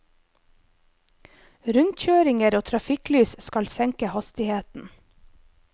Rundkjøringer og trafikklys skal senke hastigheten.